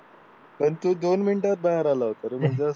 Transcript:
पण तू दोन मिनिटात बाहेर आला होता